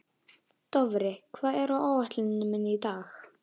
Dofri, hvað er á áætluninni minni í dag?